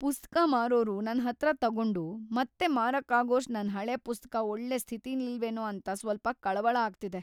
ಪುಸ್ತಕ ಮಾರೋರು ನನ್ಹತ್ರ ತಗೊಂಡು ಮತ್ತೆ ಮಾರಕ್ಕಾಗೋಷ್ಟು ನನ್‌ ಹಳೆ ಪುಸ್ತಕ ಒಳ್ಳೆ ಸ್ಥಿತಿಲಿಲ್ವೇನೋ ಅಂತ ಸ್ವಲ್ಪ ಕಳವಳ ಆಗ್ತಿದೆ.